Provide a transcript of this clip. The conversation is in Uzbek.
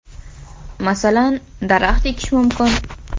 Masalan, daraxt ekish mumkin.